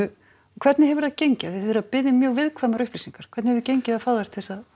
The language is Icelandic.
hvernig hefur það gengið að þið eruð að biðja um mjög viðkvæmar upplýsingar hvernig hefur gengið að fá þær til þess að